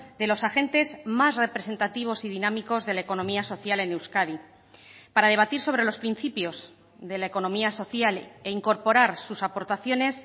de los agentes más representativos y dinámicos de la economía social en euskadi para debatir sobre los principios de la economía social e incorporar sus aportaciones